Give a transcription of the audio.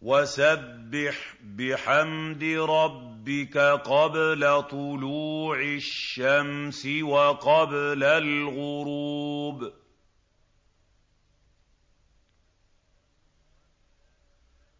وَسَبِّحْ بِحَمْدِ رَبِّكَ قَبْلَ طُلُوعِ الشَّمْسِ وَقَبْلَ الْغُرُوبِ